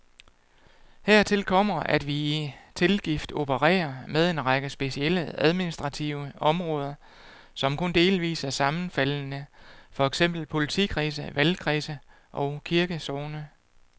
Hertil kommer, at vi i tilgift opererer med en række specielle, administrative områder, som kun delvis er sammenfaldende, for eksempel politikredse, valgkredse og kirkesogne.